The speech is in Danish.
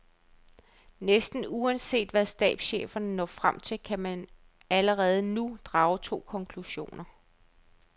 Næsten uanset hvad stabscheferne når frem til, kan man allerede nu drage to konklusioner.